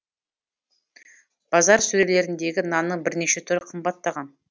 базар сөрелеріндегі нанның бірнеше түрі қымбаттаған